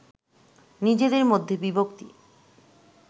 নিজেদের মধ্যে বিভক্তি